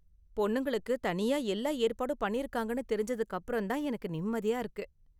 பொண்ணுங்களுக்கு தனியா எல்லா ஏற்பாடும் பண்ணிருக்காங்கனு தெரிஞ்சதுக்கு அப்பறம் தான் எனக்கு நிம்மதியா இருக்கு.